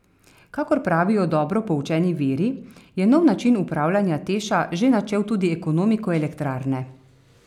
Kakor pravijo dobro poučeni viri, je nov način upravljanja Teša že načel tudi ekonomiko elektrarne.